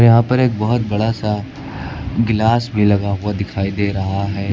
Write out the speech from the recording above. यहां पर एक बहोत बड़ा सा ग्लास भी लगा हुआ दिखाई दे रहा है।